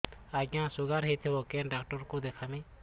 ଆଜ୍ଞା ଶୁଗାର ହେଇଥିବ କେ ଡାକ୍ତର କୁ ଦେଖାମି